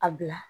A bila